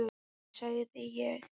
Nei, nei, sagði ég.